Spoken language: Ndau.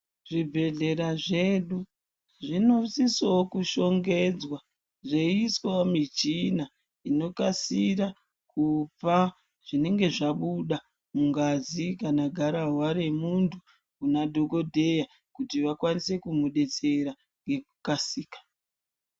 Zvibhedhlera zvedu zvinosisoo kushongedzwa zveiiswawo michina inokasira kupa zvinenge zvabuda mungazi kana gararwa remuntu kunadhogodheya kuti vakwanise kumudetsera ngekukasika.